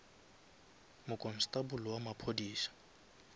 mokonstable wa maphodisa